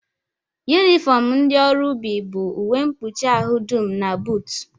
Yunifọm ndị ọrụ ubi bụ uwe mkpuchi ahụ dum na buutu